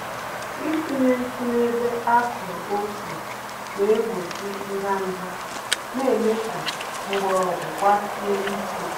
Itinye ntụ n'ebe akụrụ ose, naegbochi ndanda, na mee ka mgbọrọgwụ gbasie ike.